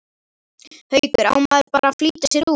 Haukur: Á maður bara að flýta sér út?